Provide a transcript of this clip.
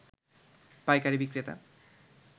পাইকারী বিক্রেতা